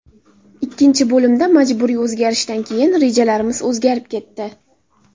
Ikkinchi bo‘limda majburiy o‘zgarishdan keyin rejalarimiz o‘zgarib ketdi.